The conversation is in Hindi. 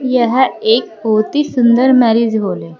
यह एक बोहोत ही सुंदर मैरिज हॉल है।